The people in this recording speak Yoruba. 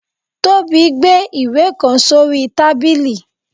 Tobi gbe ìwe kan sorí tábilí.